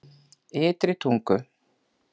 Ytri Tungu